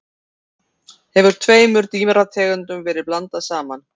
hefur tveimur dýrategundum verið blandað saman